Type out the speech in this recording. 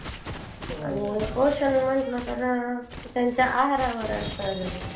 अह technical uh diploma वगैरे diploma